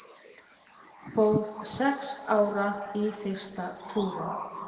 Fór sex ára í fyrsta túrinn